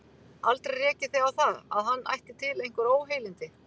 Aldrei rekið þig á það, að hann ætti til einhver óheilindi?